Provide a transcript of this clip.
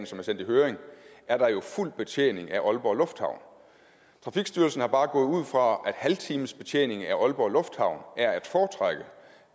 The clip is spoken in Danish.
som er sendt i høring er der jo fuld betjening af aalborg lufthavn trafikstyrelsen er bare gået ud fra at en halvtimesbetjening af aalborg lufthavn